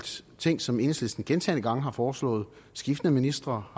ting som enhedslisten gentagne gange har foreslået skiftende ministre